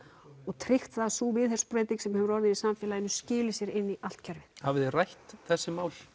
og tryggt að sú viðhorfsbreyting sem hefur orðið í samfélaginu skili sér inn í allt kerfið hafið þið rætt þessi mál